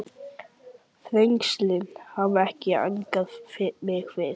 Þrengslin hafa ekki angrað mig fyrr.